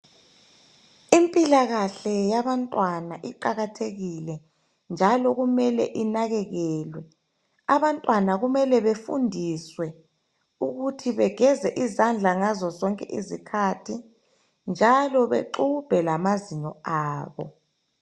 Impilakahle yabantwana iqakathekile njalo kumele inakekelwe. Abantwana kumele befundiswe ukuthi begeze izandla ngazo zonke izikhathi njalo bexubhe lamazinyo abo.